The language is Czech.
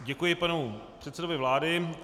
Děkuji panu předsedovi vlády.